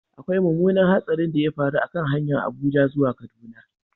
Akwai mummunan hatsarin da ya faru a kan hanyar Abuja zuwa Kaduna.